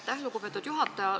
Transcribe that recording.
Aitäh, lugupeetud juhataja!